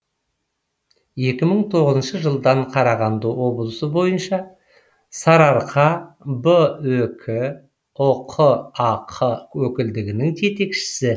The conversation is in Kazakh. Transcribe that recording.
екі мың тоғызыншы жылдан қарағанды облысы бойынша сарыарқа ақ өкілдігінің жетекшісі